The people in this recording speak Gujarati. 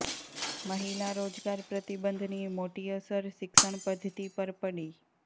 મહિલા રોજગાર પ્રતિબંધની મોટી અસર શિક્ષણ પદ્ધતિ પર પડી